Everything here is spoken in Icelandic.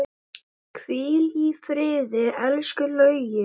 Hvíl í friði, elsku Laugi.